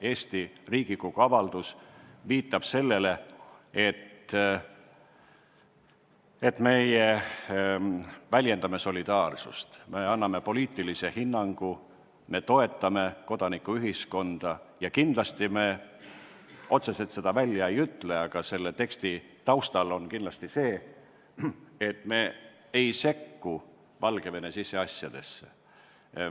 Eesti Riigikogu avaldus viitab sellele, et me väljendame solidaarsust, me anname poliitilise hinnangu, me toetame kodanikuühiskonda ja me kindlasti – otseselt me seda välja ei ütle, aga selle teksti taustal on see selge – ei sekku Valgevene siseasjadesse.